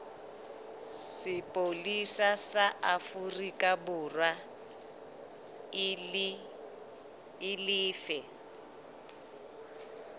sepolesa sa aforikaborwa e lefe